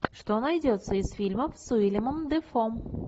что найдется из фильмов с уиллемом дефо